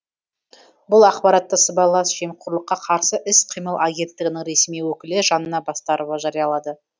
бұл ақпаратты сыбайлас жемқорлыққа қарсы іс қимыл агенттігінің ресми өкілі жанна бастарова жариялады